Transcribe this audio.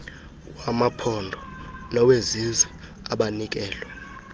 wamaphondo nowesizwe abanikelo